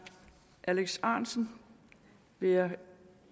alex ahrendtsen vil jeg